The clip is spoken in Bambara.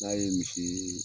N'a ye misi yeee.